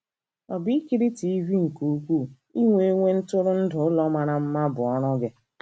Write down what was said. Ọ̀ bụ ikiri TV nke ukwuu, inwe inwe ntụrụndụ, ụlọ mara mma, bụ ọrụ gị?